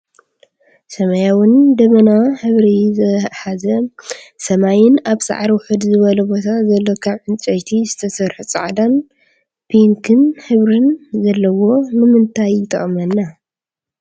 ሰማያዊን ደመናማ ሕብሪ ዝሓዘ ሰማይን ኣብ ሳዕሪ ውሕድ ዝበሎ ቦታ ዘሎ ካብ ዕንጨይቲ ዝተሰረሐ ፃዕዳን ቢንክ ሕብርን ዘለዎ ንምንታይ ይጠቅመና?